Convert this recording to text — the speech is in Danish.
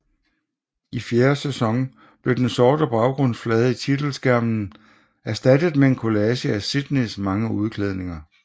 I fjerde sæson blev den sorte baggrundsflade i titelskærmen erstattet med en kollage af Sydneys mange udklædninger